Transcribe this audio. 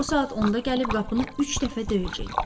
O saat onda gəlib qapını üç dəfə döyəcək.